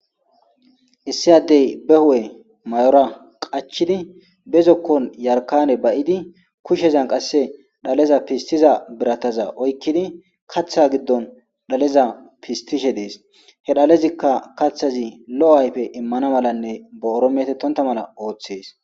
issi addey be hu7e may7ora qachidi bezokkon yarkane bayidi kushshezan qasse dhaleza pistiza birataza oykkidi kaththa giddon dhaleza pistishe dees he dhalezikka kaththazi lo7o ayfe immana malanne bo7oro metettonta mala ooththees